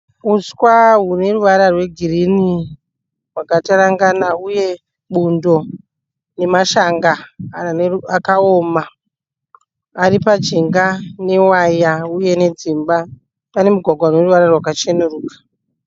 Huswa huneruvara rwegirinhi hwakatarangana uye bundo nemashanga akaoma ari pajinga newaya uye nedzimba. Pane mugwagwa uneruvara rwakacheneruka.